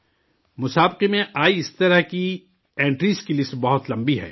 مقابلہ میں آئی اس طرح کی اینٹٹیز کی لسٹ بہت لمبی ہے